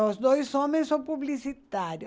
Os dois homens são publicitários.